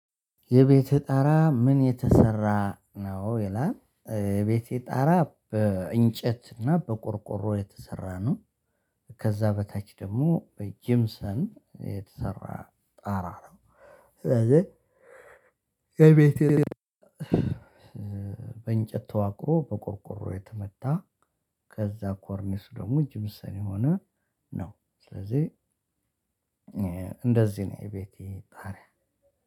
የቤትህ ጣራ ምን የተሰራ ነው ይላል? የቤቴ ጣራ በእንጨት እና በቆርቆሮ የተሰራ ነው። ከዛ በታች ደግሞ በጂምሰን የተሰራ ጣራ ነው። ስለዚህ በእንጨት ተዋቅሮ በቆርቆሮ የተመታ ከዛ ኮርኒስ ደግሞ ጅብሰን የሆነ ነው። ስለዚህ እንደዚህ ነው የቤቴ ጣሪያ።